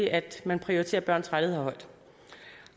at man prioriterer børns rettigheder højt